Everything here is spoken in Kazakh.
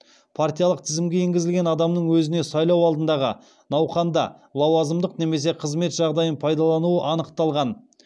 партиялық тізімге енгізілген адамның өзіне сайлау алдындағы науқанында лауазымдық немесе қызмет жағдайын пайдалануы анықталған